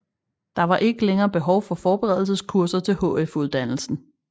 Der var ikke længere behov for forberedelseskurser til HF uddannelsen